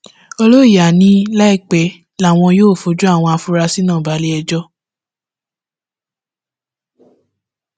oloìyá ni láìpẹ làwọn yóò fojú àwọn afurasí náà balé ẹjọ́